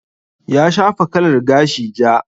Ya shafa kalar gashi ja.